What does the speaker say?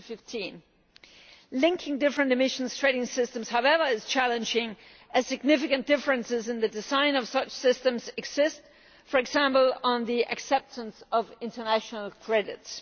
2015. Linking different emissions trading systems, however, is challenging, as significant differences in the design of such systems exist, for example on the acceptance of international credits.